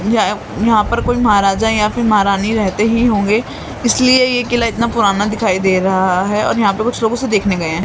यहां पर कोई महाराजा या फिर महारानी रहते ही होंगे इसलिए यह किला इतना पुराना दिखाई दे रहा है और यहां पर कुछ लोग उसे देखने गए हैं।